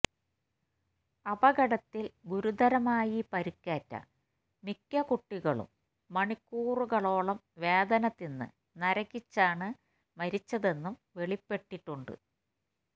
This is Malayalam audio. അപകടത്തില് ഗുരുതരമായി പരിക്കേറ്റ മിക്ക കുട്ടികളും മണിക്കൂറുകളോളം വേദന തിന്ന് നരകിച്ചാണ് മരിച്ചതെന്നും വെളിപ്പെട്ടിട്ടുണ്ട്